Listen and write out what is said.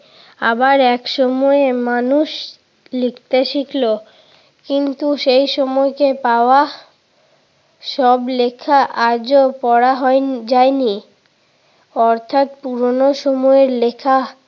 আবার এক সময়ে মানুষ লিখতে শিখল। কিন্তু সেই সময়কে পাওয়া সব লেখা আজও পড়া হয়নি যায়নি। অর্থাৎ পুরোনো সময়ের লেখা